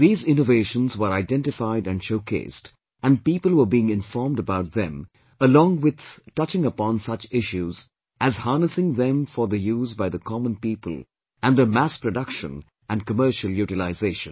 These innovations were identified and showcased, and people were being informed about them, along with touching upon such issues as harnessing them for the use by the common people and their mass production and commercial utilization